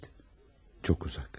Çox uzaq.